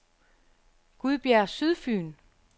Gudbjerg Sydfyn